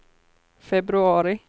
februari